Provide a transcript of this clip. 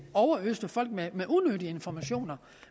overøste folk med unødige informationer